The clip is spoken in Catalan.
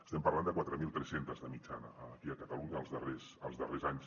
estem parlant de quatre mil tres cents de mitjana aquí a catalunya els darrers anys